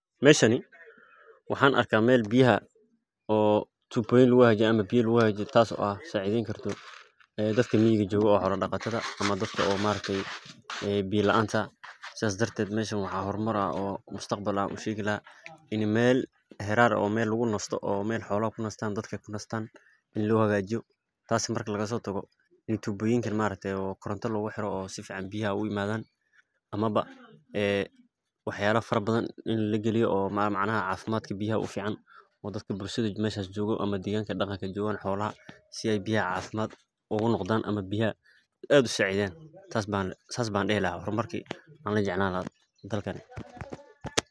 Meshani, waxaan arkah mel biyaha oo tuboyin luguhagajiye ama biya luguhagjiye tas oo ah sacideyn karto dadka miyiga jogo oo xola daqatadha ah ama dadka oo maaragtey biya laanta sidas darted meshan waxaa hormar ah oo mustaqbal ah an ushegi laha, ini mel xirar oo mel lagunasto oo mel xola kunastan dadka kunastan in lo hagajiyo, tas marki lagasotago, in tuboyinkan maaragte oo koronto luguxiro oo sifican biyaha ogaimadan, ama ba ee waxyaba fara bathan in lagaliyo oo micnaha cafimadka biyaha ufican oo dadka bulshada meshas jogo ama deganka daqanka jogan xolaha si ay biyaha cafimad ugu noqdan ama biyaha ad usacideyan. Sas ban dihi lahaa hormarki an la jeclan laha dalkan.